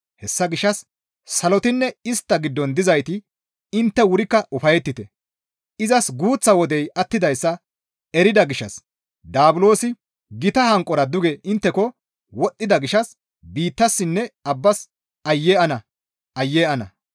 Hessa gishshas salotinne istta giddon dizayti intte wurikka ufayettite; izas guuththa wodey attidayssa erida gishshas daabulosi gita hanqora duge intteko wodhdhida gishshas biittassinne abbas Aayye ana! Aayye ana!»